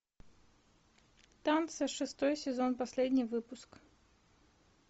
танцы шестой сезон последний выпуск